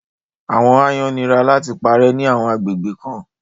àwọn àayan nira làti pàrẹ ni àwọn agbegbe kan